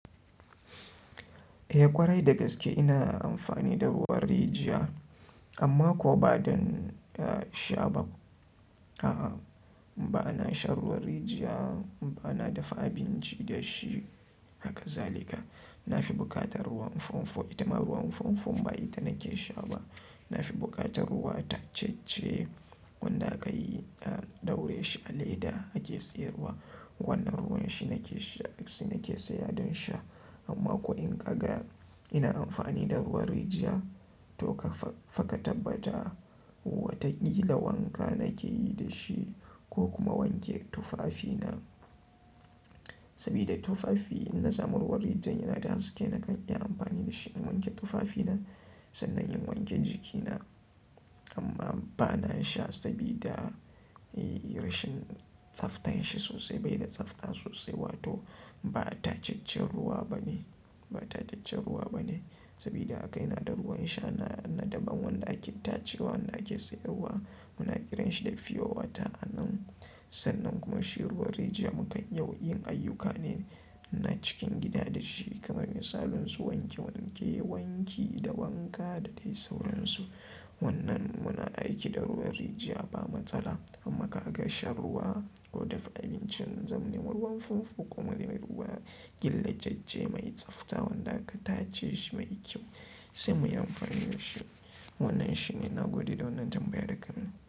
Eh ƙwarai da gaske ina amfani da ruwan rijiya amma ko ba don sha ba. A'a, ba na shan ruwan rijiya ba, na dafa abinci da shi haka zalika. Na fi buƙatar ruwan fomfo, itama ruwan fomfo ba ita nake sha ba. Na fi buƙatar ruwa tacece wanda akayi daure shi a leda ake tsira ruwa. Wannan ruwan shi nake sha, shi nake saya don sha. Amma ko in ka ga ina amfani da ruwan rijiya to faka tabbata watakila wanka nake yi da shi ko kuma wanke tufafina. Sabida tufafi in na samu ruwan rijiyar yana da haske nakan iya amfani da shi in wanke tufafina, sannan in wanke jikina. Amma bana sha sabida rashin tsaftar shi sosa baida tsabta sosai wato ba tataccen ruwa bane sabida haka ina da ruwan sha na daban wanda ake tacewa wanda ake sayarwa muna kiran shi da fiyowata a nan. Sannan kuma shi ruwan rijiya muka yau yin ayyuka ne na cikin gida da shi kamar misalin su wanke wanke wanki da wanka da dai sauransu. Wannan muna aiki da ruwan rijiya ba matsala. Amma ka ga shan ruwa ko dafa abinci, mun zama ne ruwan fomfo ko mari mai ruwa gille jaje mai tsafta wanda aka tace shi mai kyau sai mu yi amfani da shi. Wannan shine na gode da wannan tambayar da ka yi min.